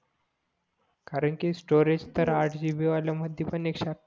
कारण कि स्टोरेज तर आठ जीबी बी वाल्या मधी पण एकशे